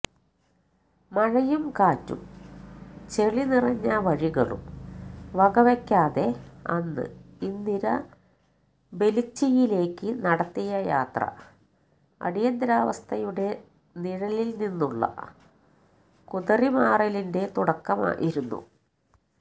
മഴയും കാറ്റും ചെളി നിറഞ്ഞ വഴികളും വകവെയ്ക്കാതെ അന്ന് ഇന്ദിര ബെല്ച്ചിയിലേക്ക് നടത്തിയ യാത്ര അടിയന്തരാവസ്ഥയുടെ നിഴലില്നിന്നുള്ള കുതറിമാറലിന്റെ തുടക്കമായിരുന്നു